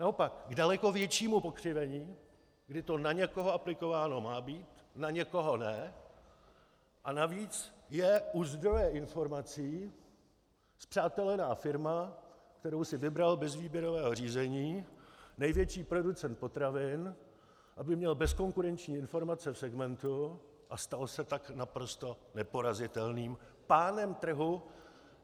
Naopak, k daleko většímu pokřivení, kdy to na někoho aplikováno má být, na někoho ne, a navíc je u zdroje informací spřátelená firma, kterou si vybral bez výběrového řízení největší producent potravin, aby měl bezkonkurenční informace v segmentu, a stal se tak naprosto neporazitelným pánem trhu.